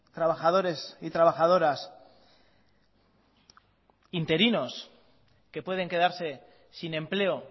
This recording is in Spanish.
trabajadores y trabajadoras interinos que pueden quedarse sin empleo